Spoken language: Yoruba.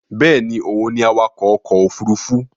Bẹ́ẹ̀ni òun ni awakọ̀ ọkọ̀ òfurufú